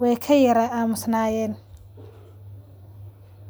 way ka yaraa aamusnaayeen.